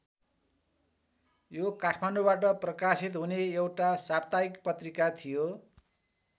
यो काठमाडौबाट प्रकाशित हुने एउटा साप्ताहिक पत्रिका थियो।